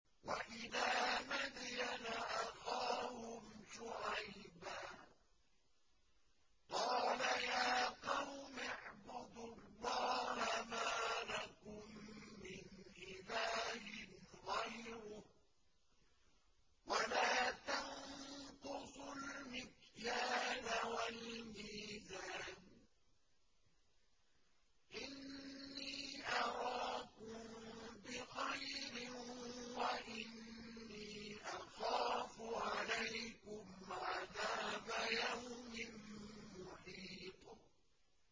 ۞ وَإِلَىٰ مَدْيَنَ أَخَاهُمْ شُعَيْبًا ۚ قَالَ يَا قَوْمِ اعْبُدُوا اللَّهَ مَا لَكُم مِّنْ إِلَٰهٍ غَيْرُهُ ۖ وَلَا تَنقُصُوا الْمِكْيَالَ وَالْمِيزَانَ ۚ إِنِّي أَرَاكُم بِخَيْرٍ وَإِنِّي أَخَافُ عَلَيْكُمْ عَذَابَ يَوْمٍ مُّحِيطٍ